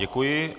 Děkuji.